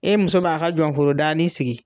E muso b'a k'a jɔnforo daani sigi